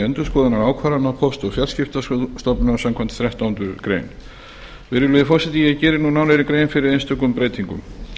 endurskoðunar ákvarðana póst og fjarskiptastofnunar samkvæmt þrettándu greinar virðulegi forseti ég geri nú nánari grein fyrir einstökum breytingum